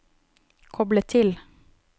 koble til